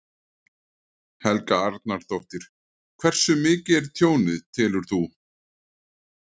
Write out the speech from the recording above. Helga Arnardóttir: Hversu mikið er tjónið, telur þú?